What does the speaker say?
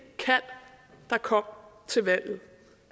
kald der kom til valget